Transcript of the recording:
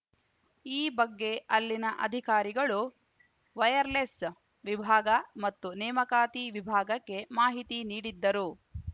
ಈ ಬಗ್ಗೆ ಅಲ್ಲಿನ ಅಧಿಕಾರಿಗಳು ವೈಯರ್‌ಲೆಸ್‌ ವಿಭಾಗ ಮತ್ತು ನೇಮಕಾತಿ ವಿಭಾಗಕ್ಕೆ ಮಾಹಿತಿ ನೀಡಿದ್ದರು